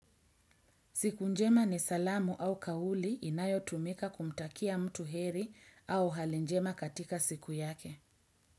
Siku njema ni salamu au kauli inayotumika kumtakia mtu heri au hali njema katika siku yake.